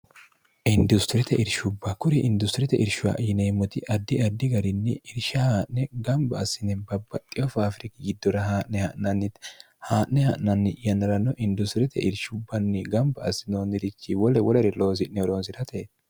industirite irshubba kuri industirite irshuha yineemmoti addi addi garinni irsha haa'ne gamba assine babbaxxi ofa aafiriki giddora haa'ne ha'nanniti haa'ne ha'nanni'yaniranno industirete irshubbanni gamba assinoonnirichi wole wolere loosi'nehoroonsi'rate